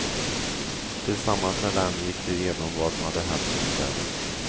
Tillsammans med dem gick de igenom vad som hänt under kvällen.